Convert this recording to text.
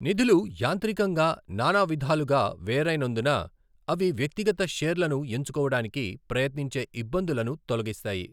నిధులు యాంత్రికంగా నానవిధాలుగా వెరైనందున, అవి వ్యక్తిగత షేర్లను ఎంచుకోవడానికి ప్రయత్నించే ఇబ్బందులను తొలగిస్తాయి.